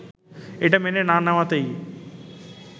এটা মেনে না নেওয়াতেই